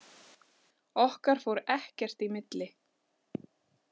Okkar fór ekkert í milli.